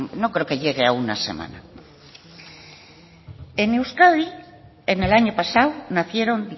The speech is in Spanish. no creo que llegue a una semana en euskadi en el año pasado nacieron